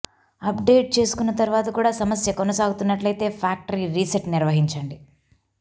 update చేసుకున్న తరువాత కూడా సమస్య కొనసాగుతున్నట్లయితే ఫ్టాక్టరీ రీసెట్ నిర్వహించండి